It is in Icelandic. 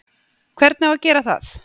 Hvernig á að gera það?